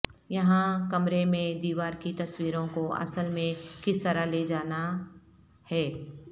یہاں کمرے میں دیوار کی تصویروں کو اصل میں کس طرح لے جانا ہے